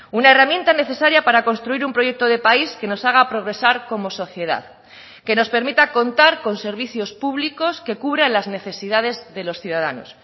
una herramienta necesaria para construir un proyecto de país que nos haga progresar como sociedad que nos permita contar con servicios públicos que cubra las necesidades de los ciudadanos